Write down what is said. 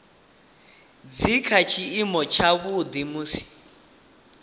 dzi kha tshiimo tshavhuḓi musi